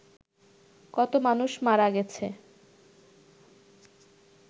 কত মানুষ মারা গেছে